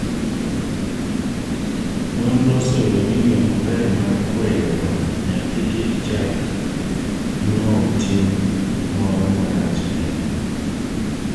nonro oseyudo ni yoo maber mar kwero nyathi kik chak now tim moro marach en